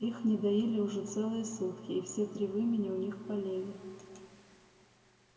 их не доили уже целые сутки и все три вымени у них болели